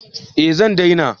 Eh zan daina